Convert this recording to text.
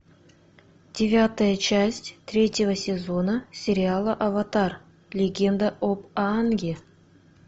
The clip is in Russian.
девятая часть третьего сезона сериала аватар легенда об аанге